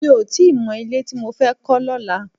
Mi ò tí ì mọ ilé tí mo fẹ́ kọ́ lọ́la